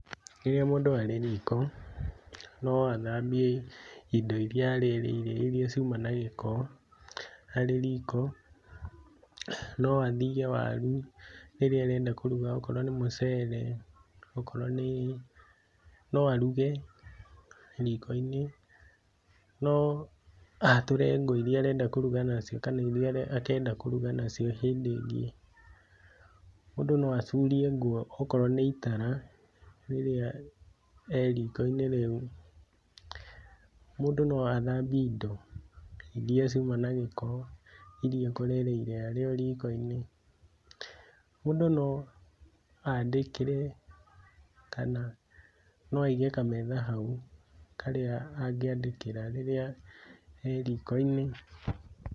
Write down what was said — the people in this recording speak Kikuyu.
Rĩrĩa mũndũ arĩ riiko, no athambie indo iria arĩrĩire iria ciuma na gĩko arĩ riiko no athiige waru, rĩrĩa arenda kũruga okorwo nĩ mũceere, okorwo nĩ, no aruge riiko-inĩ, no aatũre ngũ iria arenda kũruga nacio kana iria akenda kũruga nacio hĩndĩ ingĩ, mũndũ no acurie ngũ okorwo nĩ itara rĩrĩa e riiko-inĩ rĩu, mũndũ no athambie indo, iria ciuma na gĩko, iria ekũrĩrĩire arĩ o riiko-inĩ, mũndũ no aandĩkĩre kana no aige kametha hau karĩa angĩandĩkĩra rĩrĩa e riiko-inĩ.